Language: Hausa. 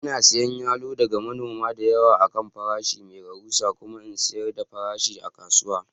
Ina siyan yalo daga manoma da yawa a kan farashi mai rahusa kuma in sayar da farashi a kasuwa